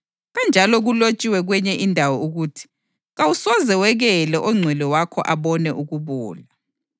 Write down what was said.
Kanjalo kulotshiwe kwenye indawo ukuthi: ‘Kawusoze wekele oNgcwele wakho abone ukubola.’ + 13.35 AmaHubo 16.10